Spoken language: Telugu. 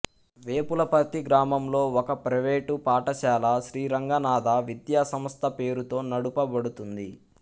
వేపులపర్తి గ్రామంలో ఒక ప్రైవేట్ పాఠశాల శ్రీరంగనాథ విద్యాసంస్థ పేరుతో నడుపబడుతుంది